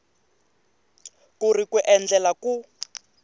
ku ri ku endlela ku